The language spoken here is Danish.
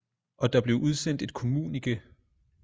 Og der blev udsendt et kommunike